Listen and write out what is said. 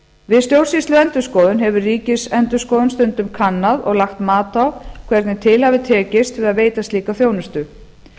við stjórnsýsluendurskoðun hefur ríkisendurskoðun stundum kannað og lagt mat á hvernig til hafi tekist við að veita slíka þjónustu